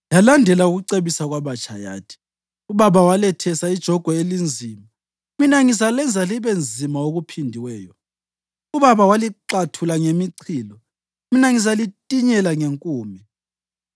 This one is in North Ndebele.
yalandela ukucebisa kwabatsha, yathi, “Ubaba walethesa ijogwe elinzima, mina ngizalenza libe nzima okuphindiweyo. Ubaba walixathula ngemichilo, mina ngizalintinyela ngenkume.”